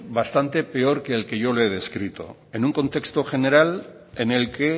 bastante peor que el que yo le he descrito en un contexto general en el que